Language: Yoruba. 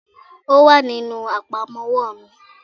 Ò wà nínú àpamọ́wọ́ mi